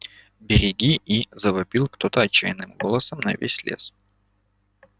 береги и завопил кто-то отчаянным голосом на весь лес